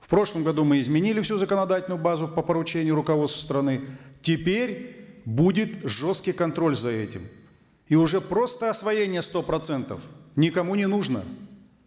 в прошлом году мы изменили всю законодательную базу по поручению руководства страны теперь будет жесткий контроль за этим и уже просто освоение сто процентов никому не нужно